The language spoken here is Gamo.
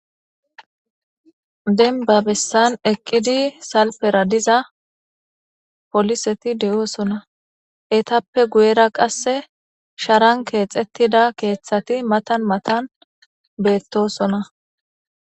denba bessan eqqidi salfera diza poliseti de7oosona etappe guyera qasse sharan keexettida keeththati matan matan beettosona